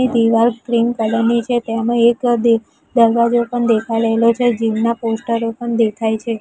એ દીવાલ cream colour ની છે તેમાં એક દ-દરવાજો પણ દેખાય રહેલો છે જિમ ના પોસ્ટરો પણ દેખાય છે.